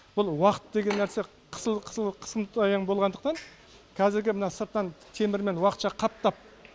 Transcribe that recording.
бұл уақыт деген нәрсе болғандықтан қазіргі мына сырттан темірмен уақытша қаптап